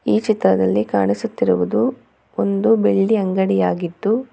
ಈ ಚಿತ್ರದಲ್ಲಿ ಕಾಣಿಸುತ್ತಿರುವುದು ಒಂದು ಬೆಳ್ಳಿ ಅಂಗಡಿಯಾಗಿದ್ದು--